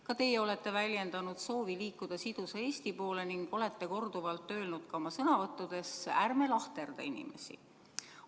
Ka teie olete väljendanud soovi liikuda sidusa Eesti poole ning olete korduvalt ka oma sõnavõttudes öelnud, et ärme lahterdame inimesi.